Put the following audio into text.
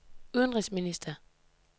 udenrigsminister